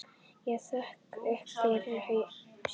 Ég sökk upp fyrir haus.